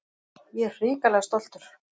Ég er hrikalega stoltur.